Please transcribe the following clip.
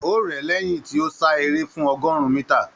O rẹ̀ ẹ́ lẹ́yìn tí ó sá eré fún ọgọ́rùn-ún mítà.